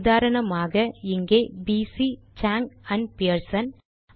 உதாரணமாக இங்கே P C Chang and Pearson